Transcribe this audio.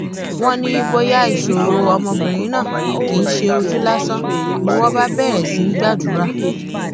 wọn ní bóyá ìṣòro ọmọbìnrin náà kì í ṣe ojú lásán ni wọn bá bẹrẹ sí í gbàdúrà